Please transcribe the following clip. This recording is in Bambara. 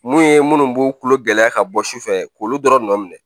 Mun ye minnu b'u kulo gɛlɛya ka bɔ sufɛ k'olu dɔrɔn nɔ minɛ